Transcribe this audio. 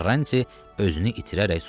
Karranti özünü itirərək susdu.